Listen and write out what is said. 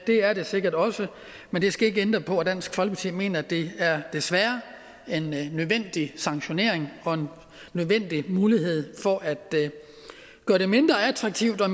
det er det sikkert også men det skal ikke ændre på at dansk folkeparti mener at det desværre er en nødvendig sanktionering og en nødvendig mulighed for at gøre det mindre attraktivt og